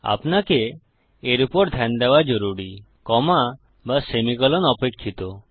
আপনাকে এর উপর ধ্যান দেওয়া জরুরি কমা বা সেমিকোলন অপেক্ষিত